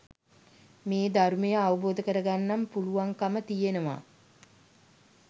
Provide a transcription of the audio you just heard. මේ ධර්මය අවබෝධ කරගන්න පුළුවන්කම තියෙනව